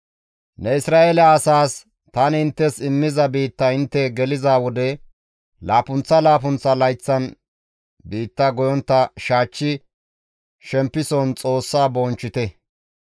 «Ne Isra7eele asaas, ‹Tani inttes immiza biitta intte geliza wode laappunththa laappunththa layththan biitta goyontta shaachchi shempison Xoossa bonchchite.